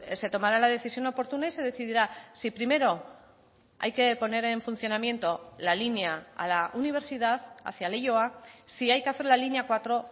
se tomará la decisión oportuna y se decidirá si primero hay que poner en funcionamiento la línea a la universidad hacia leioa si hay que hacer la línea cuatro